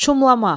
Şumlamaq.